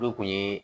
Olu kun ye